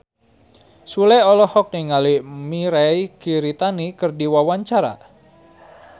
Sule olohok ningali Mirei Kiritani keur diwawancara